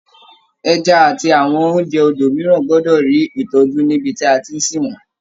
Ẹja àti àwọn oúnjẹ odò mìíràn gbọ́dọ̀ rí ìtọ́jú ní ibi tí a tí ń sìn wọ́n.